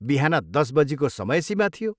बिहान दस बजीको समय सीमा थियो।